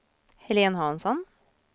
Helene Hansson